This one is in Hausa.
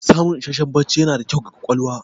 Samun isasshen bacci yana da kyau ga ƙwaƙwalwa.